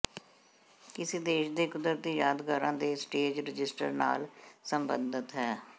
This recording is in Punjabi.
ਕਿਮੀ ਦੇਸ਼ ਦੇ ਕੁਦਰਤੀ ਯਾਦਗਾਰਾਂ ਦੇ ਸਟੇਜ ਰਜਿਸਟਰ ਨਾਲ ਸਬੰਧਤ ਹੈ